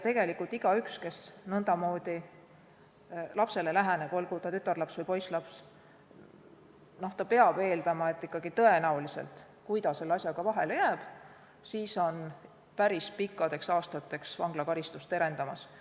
Tegelikult igaüks, kes nõndamoodi lapsele läheneb, olgu see tütarlaps või poisslaps, peab eeldama, et tõenäoliselt, kui ta selle asjaga vahele jääb, siis on päris pikkadeks aastateks vanglakaristus terendamas.